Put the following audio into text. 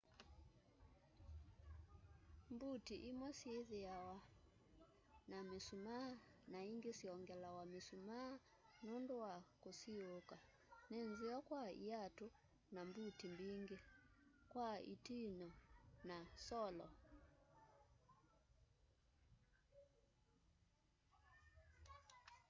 mbuti imwe syithwaa na misumaa na ingi syongelawa misumaa nundu wa kusiuuka ni nzeo kwa iatu na mbuti mbingi kwa itiinyo na solo